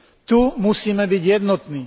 Tu musíme byť jednotní.